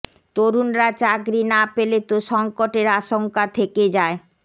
তরুণরা চাকরি না পেলে তো সঙ্কটের আশঙ্কা থেকে যায়